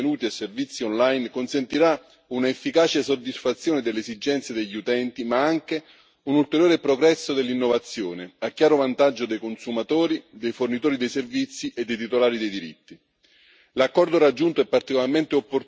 L'eliminazione delle barriere esistenti all'utilizzo di contenuti e servizi online consentirà un'efficace soddisfazione delle esigenze degli utenti, ma anche un ulteriore progresso dell'innovazione, a chiaro vantaggio dei consumatori, dei fornitori dei servizi e dei titolari